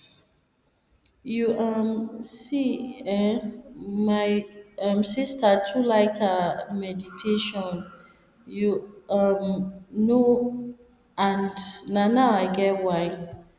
you um see eh my um sister too like ah meditation you um know and na now i get why